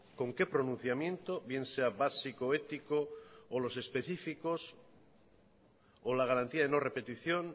con qué pronunciamiento bien sea básico ético o los específicos o la garantía de no repetición